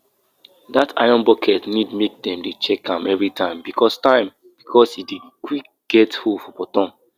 na so that farmer cucumber take die after sun shine for am 3 days and him no carry anything cover am.